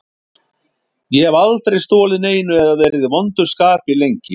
Ég hef aldrei stolið neinu eða verið í vondu skapi lengi.